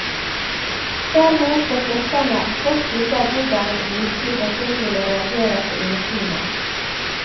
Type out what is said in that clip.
Dermed får forskerne et godt bilde av hvordan en virkelig person ville reagere på inneklimaet.